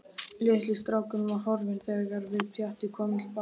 Litli strákurinn var horfinn þegar við Pjatti komum til baka.